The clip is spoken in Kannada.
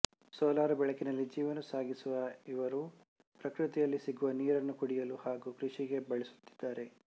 ಸೋಲಾರ್ ಬೆಳಕಿನಲ್ಲಿ ಜೀವನ ಸಾಗಿಸುವ ಇವರು ಪ್ರಕೃತಿಯಲ್ಲಿ ಸಿಗುವ ನೀರನ್ನು ಕುಡಿಯಲು ಹಾಗೂ ಕೃಷಿಗೆ ಬಳಸುತ್ತಿದ್ದಾರೆ